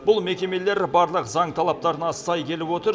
бұл мекемелер барлық заң талаптарына сай келіп отыр